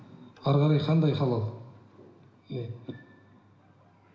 әрі қарай қандай халал иә